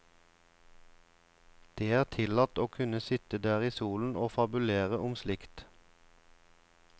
Det er tillatt å kunne sitte der i solen og fabulere om slikt.